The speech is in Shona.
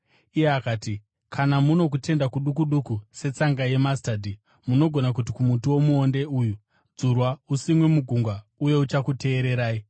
Iye akati, “Kana muno kutenda kuduku duku setsanga yemasitadhi, munogona kuti kumuti womuonde uyu, ‘Dzurwa usimwe mugungwa,’ uye uchakuteererai.